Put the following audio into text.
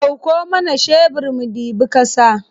Ɗauko mana shebir mu ɗibi ƙasa.